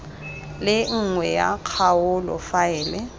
le nngwe ya kgaolo faele